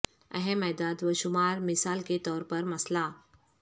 اہم اعداد و شمار مثال کے طور پر مسئلہ